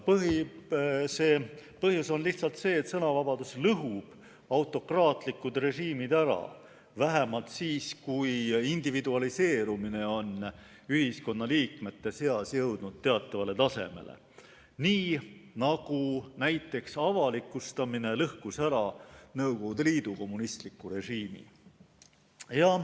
Põhjus on lihtsalt see, et sõnavabadus lõhub autokraatlikud režiimid ära, vähemalt siis, kui individualiseerumine on ühiskonnaliikmete seas jõudnud teatavale tasemele, nii nagu avalikustamine lõhkus ära Nõukogude Liidu kommunistliku režiimi.